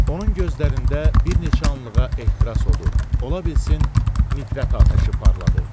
Onun gözlərində bir neçə anlığa ehtiras odu, ola bilsin nifrət atəşi parladı.